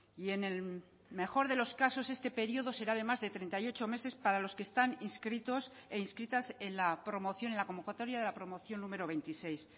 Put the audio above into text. y en el mejor de los casos este periodo será de más de treinta y ocho meses para los que están inscritos e inscritas en la promoción en la convocatoria de la promoción número veintiséis